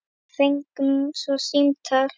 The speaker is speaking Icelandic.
Við fengum svo símtal.